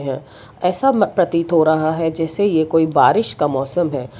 है ऐसा म प्रतीत हो रहा है जैसे ये कोई बारिश का मौसम है।